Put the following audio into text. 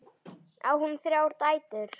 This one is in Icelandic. Á hún þrjár dætur.